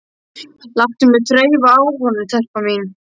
Láttu mig þreifa á honum, telpa mín.